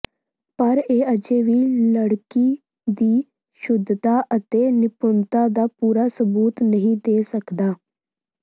ਪਰ ਇਹ ਅਜੇ ਵੀ ਲੜਕੀ ਦੀ ਸ਼ੁੱਧਤਾ ਅਤੇ ਨਿਪੁੰਨਤਾ ਦਾ ਪੂਰਾ ਸਬੂਤ ਨਹੀਂ ਦੇ ਸਕਦਾ